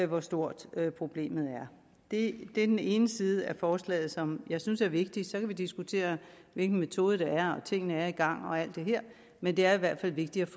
hvor stort problemet er det er den ene side af forslaget som jeg synes er vigtig så kan vi diskutere hvilken metode der er og om tingene er i gang og alt det her men det er i hvert fald vigtigt